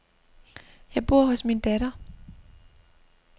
Jeg bor hos min datter.